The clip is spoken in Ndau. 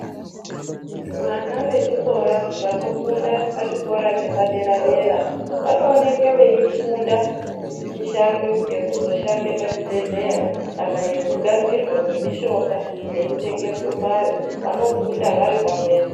Vana vechikora vanofunda pachikoro chepadera dera vanoonekwa veifunda mushando yekuzoshanda pachibhedhleya kana yekugadzirwa kwemudhongayo , vanofunda vari pamwepo.